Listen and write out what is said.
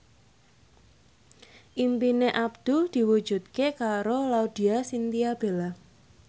impine Abdul diwujudke karo Laudya Chintya Bella